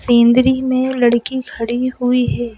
सेंदरी में लड़की खड़ी हुई है।